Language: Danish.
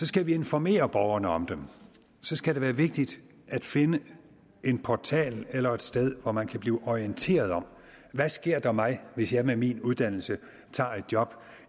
skal vi informere borgerne om dem så skal det være vigtigt at finde en portal eller et sted hvor man kan blive orienteret om hvad sker der med mig hvis jeg med min uddannelse tager et job